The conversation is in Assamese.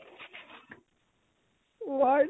word